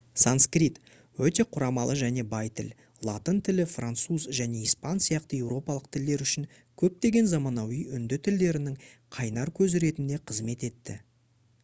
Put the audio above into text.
санскрит өте құрамалы және бай тіл латын тілі француз және испан сияқты еуропалық тілдер үшін көптеген заманауи үнді тілдерінің қайнар көзі ретінде қызмет етті